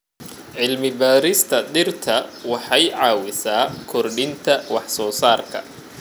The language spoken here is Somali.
Cilmi-baarista dhirta waxay caawisaa kordhinta wax soo saarka.